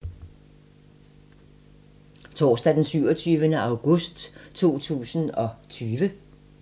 Torsdag d. 27. august 2020